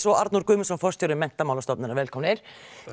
og Arnór Guðmundsson forstjóri Menntamálastofnunar velkomnir